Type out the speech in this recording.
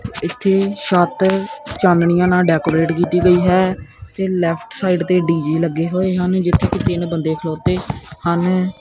ਇਥੇ ਛੱਤ ਚਾਨਣੀਆਂ ਨਾਲ ਡੈਕੋਰੇਟ ਕੀਤੀ ਗਈ ਹੈ ਤੇ ਲੈਫਟ ਸਾਈਡ ਤੇ ਡੀਜੇ ਲੱਗੇ ਹੋਏ ਹਨ ਜਿੱਥੇ ਕਿ ਤਿੰਨ ਬੰਦੇ ਖਲੋਤੇ ਹਨ।